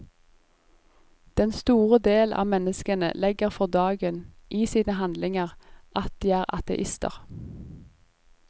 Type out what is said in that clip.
Den store del av menneskene legger for dagen, i sine handlinger, at de er ateister.